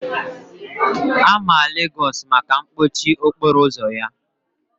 A ma Legosu maka mkpọchi okporo ụzọ ya.